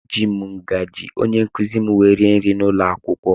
Eji m ngazi ónyé nkụzi m wee rie nri n'ụlọakwụkwọ.